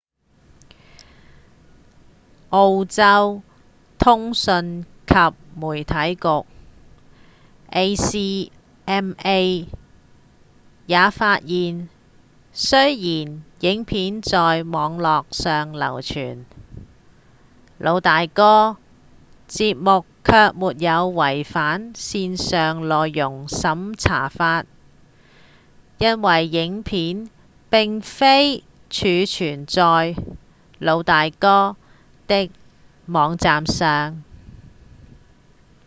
澳洲通訊及媒體局 acma 也發現雖然影片在網路上流傳《老大哥》節目卻沒有違反線上內容審查法因為影片並非儲存在《老大哥》的網站上